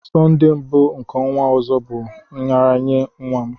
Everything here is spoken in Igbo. Sonde mbụ nke ọnwa ọzọ bụ nraranye nwa m